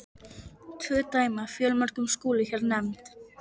Tvö dæmi af fjöldamörgum skulu hér nefnd.